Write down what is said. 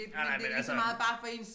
Nej nej men altså